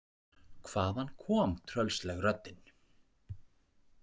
Hvaðan kom tröllsleg röddin?